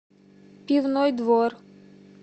пивной двор